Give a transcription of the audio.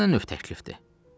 Bu nə növ təklifdir?